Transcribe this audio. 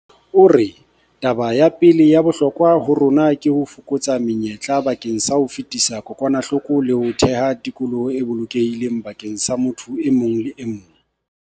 O re, taba ya pele ya bohlokwa ho rona ke ho fokotsa menyetla bakeng sa ho fetisa kokwanahloko le ho theha tikoloho e bolokehileng bakeng sa motho e mong le e mong.